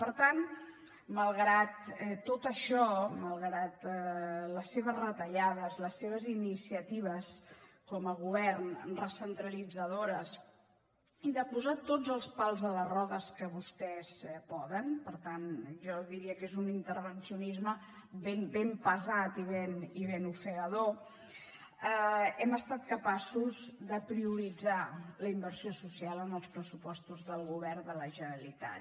per tant malgrat tot això malgrat les seves retallades les seves iniciatives com a govern recentralitzadores i de posar tots els pals a les rodes que vostès poden per tant jo diria que és un intervencionisme ben pesat i ben ofegador hem estat capaços de prioritzar la inversió social en els pressupostos del govern de la generalitat